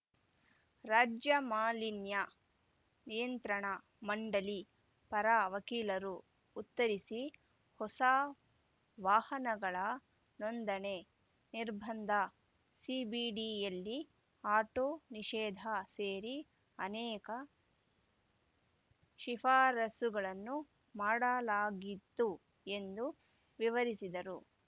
ರಾಜ್ಯ ಮಾಲಿನ್ಯ ನಿಯಂತ್ರಣ ಮಂಡಳಿ ಪರ ವಕೀಲರು ಉತ್ತರಿಸಿ ಹೊಸ ವಾಹನಗಳ ನೋಂದಣೆ ನಿರ್ಬಂಧ ಸಿಬಿಡಿಯಲ್ಲಿ ಆಟೋ ನಿಷೇಧ ಸೇರಿ ಅನೇಕ ಶಿಫಾರಸುಗಳನ್ನು ಮಾಡಲಾಗಿತ್ತು ಎಂದು ವಿವರಿಸಿದರು